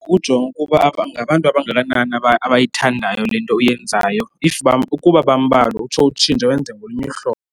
Kukujonga ukuba ngabantu abangakanani abayithandayo le nto uyenzayo if uba, ukuba bambalwa utsho utshintshe wenze ngolunye uhlobo.